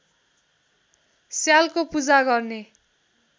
स्यालको पूजा गर्ने